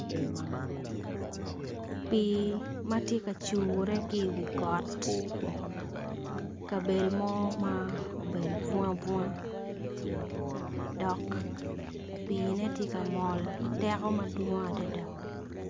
Pi matye ka cure ki wi ot kabedo mo ma obedo bunga bunga dok pine tye ka mol ki teko madwong adada.